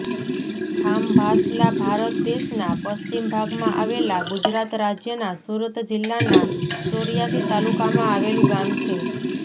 ખામભાસલા ભારત દેશના પશ્ચિમ ભાગમાં આવેલા ગુજરાત રાજ્યના સુરત જિલ્લાના ચોર્યાસી તાલુકામાં આવેલું ગામ છે